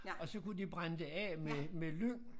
Og så kunne de brænde det af med med lyng